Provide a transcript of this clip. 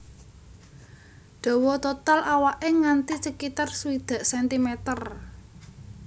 Dawa total awaké nganti sekitar swidak cm